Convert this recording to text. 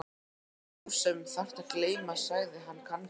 Það ert þú sem þarft að gleyma sagði hann kankvís.